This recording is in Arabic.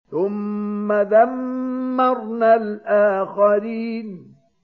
ثُمَّ دَمَّرْنَا الْآخَرِينَ